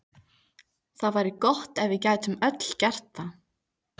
Það væri gott ef við gætum öll gert það.